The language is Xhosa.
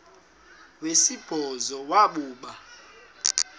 wesibhozo wabhu bha